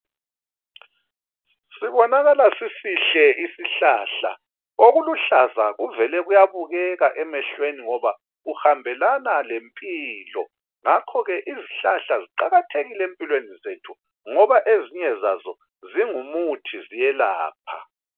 Sibonakala sisihle isihlaza, okuluhlaza kuvele kuyabukeka emehlweni ngoba kuhambelana lempilo, ngakho ke izihlahla ziqakathekile empilweni zethu ngoba ezinye zazo zingumuthi ziyelapha